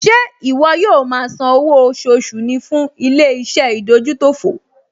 Ṣé ìwọ yóò máa san owó oṣooṣù ní fún ilé-iṣẹ́ ìdójútòfò?